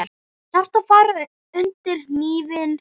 Þarftu að fara undir hnífinn?